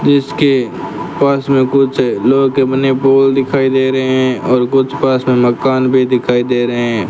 इसके पास में कुछ लोहे के बने पोल दिखाई दे रहे हैं और कुछ पास में मकान भी दिखाई दे रहे हैं।